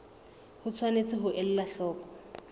o tshwanetse ho ela hloko